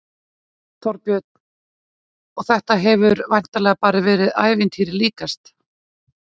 Þorbjörn: Og þetta hefur væntanlega bara verið ævintýri líkast?